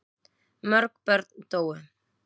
Mörg börn dóu.